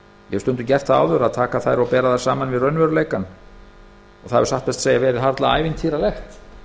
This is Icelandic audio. hef stundum gert það áður að bera þær saman við raunveruleikann og það hefur satt best að segja verið harla ævintýralegt